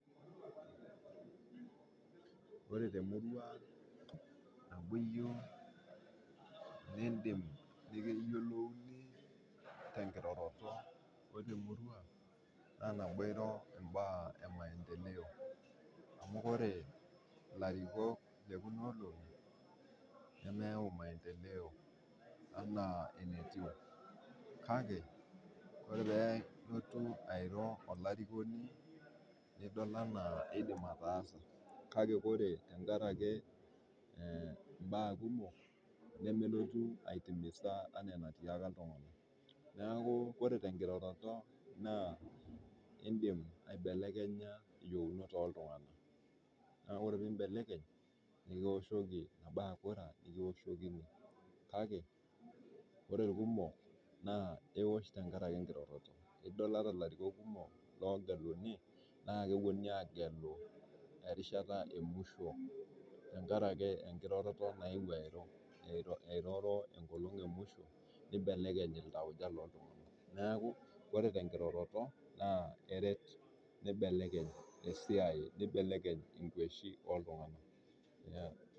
Ore temurua amui yieu nindim nikiyiolouni tenkiroroto, ore temurua na iro mbaa emaendeleo ,amu ore ilarikok lekuna olongi nemeyieu maendeleo enaa enetiu ,kake ore pee elotu airo olarikoni nidol anaa keidim ataasa kake ore tenkaraki mbaa kumok nemelotu aitimisa enaa enatiaka iltunganak .neeku ore tenkiroroto indim aibelekenya iyieunot oltunganak ,kake ore pee ibelek ore kura ekioshokini ,kake ore irkumok ,ekioshokini tenkaraki enkiroroto .idol ata larikok kumok loogeluni naa keponunui agelu erishata emusho tenkaraki enkiroroto naeuo airo ,eiroro enkolong emusho neibelekeny iltaujka looltunganak. neeku ore tenkiroroto ,eret neibeleny esiai neibelekeny kweshi oltunganak.